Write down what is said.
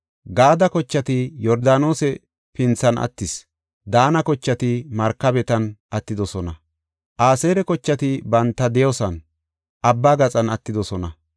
Gaade kochati Yordaanose pinthan attis, Daana kochati markabetan attidosona. Aseera kochati banta de7iyason, Abbaa gaxan attidosona.